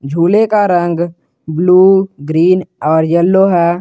झूले का रंग ब्लू ग्रीन और यलो है।